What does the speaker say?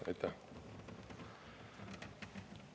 Aitäh!